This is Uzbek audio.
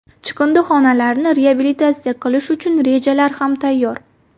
Chiqindixonalarni reabilitatsiya qilish uchun rejalar ham tayyor.